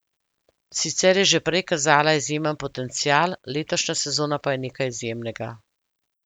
Sicer je že prej kazala izjemen potencial, letošnja sezona pa je nekaj izjemnega.